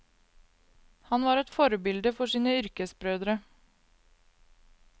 Han var et forbilde for sine yrkesbrødre.